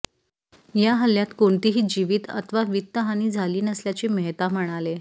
या हल्ल्यात कोणीतीही जिवित अथवा वित्त हानी झाली नसल्याचे मेहता म्हणाले